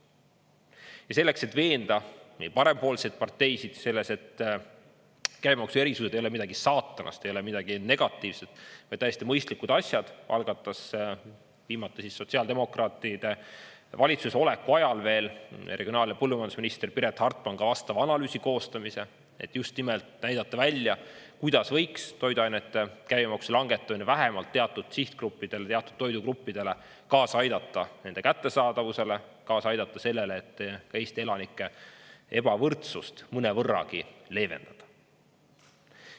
Ja selleks, et veenda nii parempoolseid parteisid selles, et käibemaksuerisused ei ole midagi saatanast, ei ole midagi negatiivset, vaid täiesti mõistlikud asjad, algatas viimati sotsiaaldemokraatide valitsuses oleku ajal veel regionaal- ja põllumajandusminister Piret Hartman ka vastava analüüsi koostamise, et just nimelt näidata välja, kuidas võiks toiduainete käibemaksu langetamine, vähemalt teatud sihtgruppidele, teatud toidugruppidele kaasa aidata, nende kättesaadavusele kaasa aidata, sellele, et ka Eesti elanike ebavõrdsust mõnevõrragi leevendada.